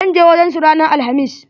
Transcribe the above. ZAn je wajen su ranan alhamis.